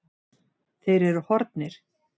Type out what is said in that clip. Þeir eru horfnir.